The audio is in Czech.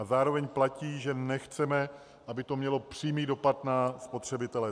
A zároveň platí, že nechceme, aby to mělo přímý dopad na spotřebitele.